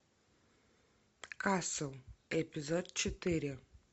касл эпизод четыре